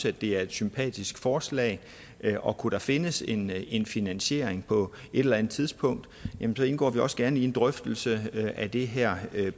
at det er et sympatisk forslag og kunne der findes en en finansiering på et eller andet tidspunkt indgår vi også gerne i en drøftelse af det her